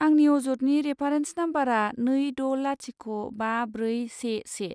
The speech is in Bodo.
आंनि अजदनि रेफारेन्स नाम्बारा नै द' लाथिख' बा ब्रै से से।